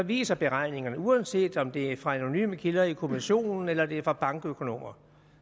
viser beregningerne uanset om det er fra anonyme kilder i kommissionen eller det er fra bankøkonomer